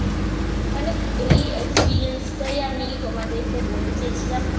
মানে এই Experience টাই আমি তোমাদেরকে বলতে চেয়েছিলাম